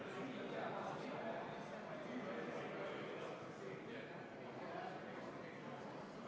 Ühtlasi tihendab panustamine Eesti ja Prantsusmaa strateegilisi ja poliitilis-sõjalisi suhteid ning parandab Eesti positsiooni olulistes julgeolekuküsimustes NATO-s ja Euroopa Liidus.